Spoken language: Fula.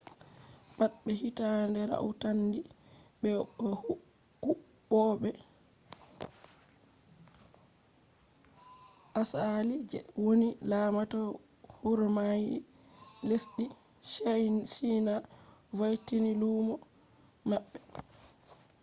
pat be hitande rautandi be bo huwwoɓe asali je woni lamata huromai lesɗi china voitini lumo maɓɓe